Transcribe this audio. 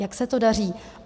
Jak se to daří?